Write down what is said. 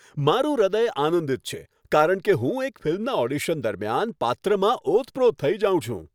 મારું હૃદય આનંદિત છે કારણ કે હું એક ફિલ્મના ઓડિશન દરમિયાન પાત્રમાં ઓતપ્રોત થઈ જાઉં છું.